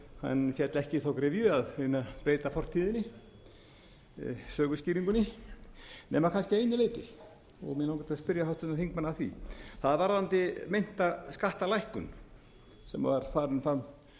en féll ekki í gryfju að reyna að beita fortíðinni söguskýringunni nema kannski að einu leyti mig langar til að spyrja háttvirtan þingmann að því það er varðandi meinta skattalækkun sem var